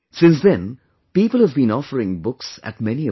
Since then, people have been offering books at many a place